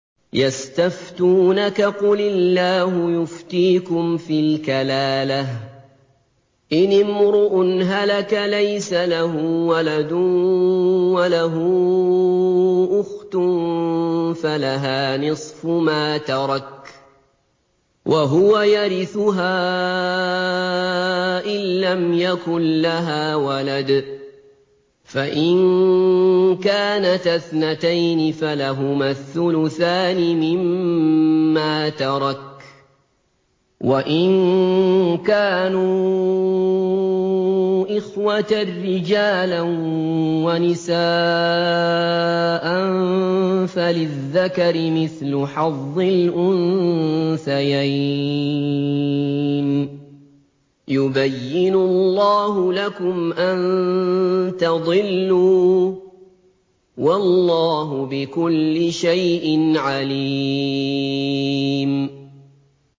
يَسْتَفْتُونَكَ قُلِ اللَّهُ يُفْتِيكُمْ فِي الْكَلَالَةِ ۚ إِنِ امْرُؤٌ هَلَكَ لَيْسَ لَهُ وَلَدٌ وَلَهُ أُخْتٌ فَلَهَا نِصْفُ مَا تَرَكَ ۚ وَهُوَ يَرِثُهَا إِن لَّمْ يَكُن لَّهَا وَلَدٌ ۚ فَإِن كَانَتَا اثْنَتَيْنِ فَلَهُمَا الثُّلُثَانِ مِمَّا تَرَكَ ۚ وَإِن كَانُوا إِخْوَةً رِّجَالًا وَنِسَاءً فَلِلذَّكَرِ مِثْلُ حَظِّ الْأُنثَيَيْنِ ۗ يُبَيِّنُ اللَّهُ لَكُمْ أَن تَضِلُّوا ۗ وَاللَّهُ بِكُلِّ شَيْءٍ عَلِيمٌ